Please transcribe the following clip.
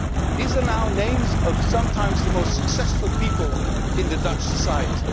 These are now names of sometimes the most successful people in Dutch society.